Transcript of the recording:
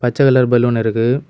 பச்ச colour balloon இருக்கு.